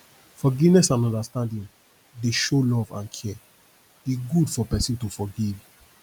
forgiveness and understanding dey show love and care e good for pesin to forgive